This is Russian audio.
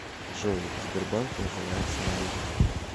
джой сбербанк наживается на людях